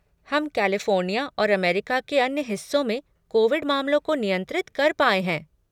हम कैलिफ़ोर्निया और अमेरिका के अन्य हिस्सों में कोविड मामलों को नियंत्रित कर पाएँ हैं।